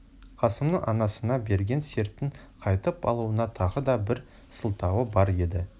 қасымның анасына берген сертін қайтып алуына тағы да бір сылтауы бар еді